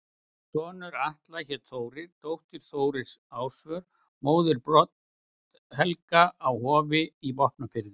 Sonur Atla hét Þórir, dóttir Þóris Ásvör, móðir Brodd-Helga á Hofi í Vopnafirði.